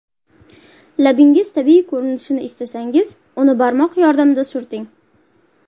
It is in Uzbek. Labingiz tabiiy ko‘rinishini istasangiz, uni barmoq yordamida surting.